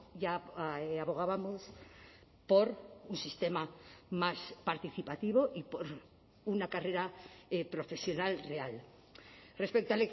ya abogábamos por un sistema más participativo y por una carrera profesional real respecto